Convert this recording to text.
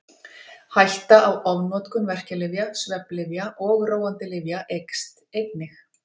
Hætta á ofnotkun verkjalyfja, svefnlyfja og róandi lyfja eykst einnig.